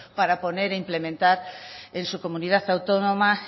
para poner e implementar en su comunidad autónoma